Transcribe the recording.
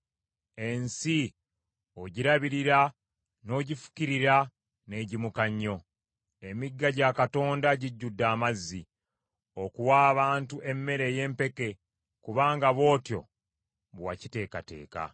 Ensi ogirabirira n’ogifukirira n’egimuka nnyo. Emigga gya Katonda gijjudde amazzi, okuwa abantu emmere ey’empeke, kubanga bw’otyo bwe wakiteekateeka.